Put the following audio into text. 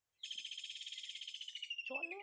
চলে